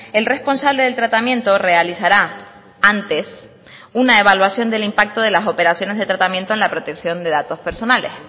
el responsable del tratamiento realizará antes una evaluación del impacto de las operaciones de tratamiento en la protección de datos personales